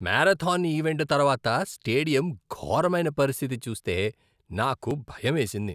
Marathon event తర్వాత stadium ఘోరమైన పరిస్థితి చూస్తే నాకు భయమేసింది.